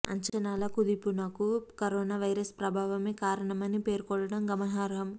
అంచనాల కుదింపునకు corona virus ప్రభావమే కారణమని పేర్కొడం గమనార్హం